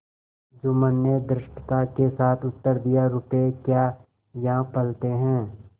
जुम्मन ने धृष्टता के साथ उत्तर दियारुपये क्या यहाँ फलते हैं